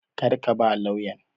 Kar ka ba lauyan!